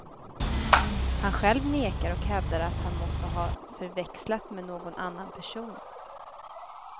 Han själv nekar och hävdar att han måste ha förväxlats med någon annan person.